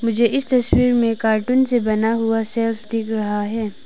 मुझे इस तस्वीर में कार्टून से बना हुआ सेल्फ दिख रहा है।